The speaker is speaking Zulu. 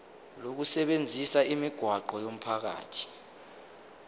lokusebenzisa imigwaqo yomphakathi